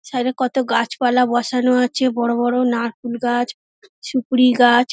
ছাদে কতো গাছপালা বসানো আছে বড় বড় নারকোল গাছ সুপরি গাছ--